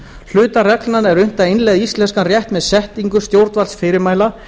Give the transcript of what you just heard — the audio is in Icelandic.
hluta reglnanna er unnt að innleiða í íslenskan rétt með setningu stjórnvaldsfyrirmæla